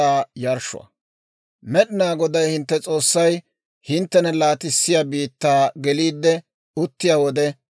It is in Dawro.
«Med'inaa Goday hintte S'oossay hinttena laatissiyaa biittaa geliide uttiyaa wode,